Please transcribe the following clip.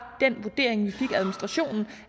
den vurdering vi fik